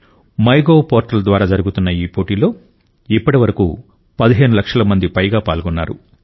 my gov portal ద్వారా జరుగుతున్న ఈ పోటీలో ఇప్పటివరకు 15 లక్షల మందికి పైగా పాల్గొన్నారు